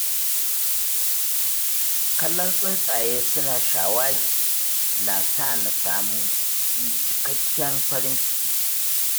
Kallon tsuntsaye suna shawagi, na sa ni samun cikakken farin ciki.